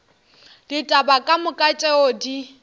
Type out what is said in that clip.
ditaba ka moka tšeo di